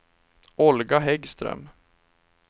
Olga Häggström